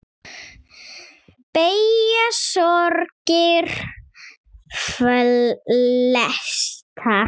Beygja sorgir flesta.